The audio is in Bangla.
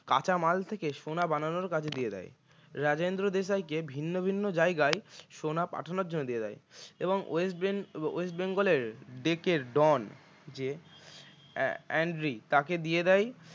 কাঁচামাল থেকে সোনা বানানোর কাজ দিয়ে দেয় রাজেন্দ্র দেশাইকে ভিন্ন ভিন্ন জায়গায় সোনা পাঠানোর জন্য দিয়ে দেয় এবং west ben~ west bengal এর ডেকের ডন যে অ্যান্ড্রি তাকে দিয়ে দেয়